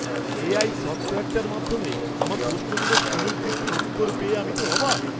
AI সফ্টওয়্যারটার মাধ্যমে আমার প্রশ্নগুলোর সুনির্দিষ্ট উত্তর পেয়ে আমি তো অবাক!